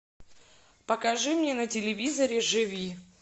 покажи мне на телевизоре живи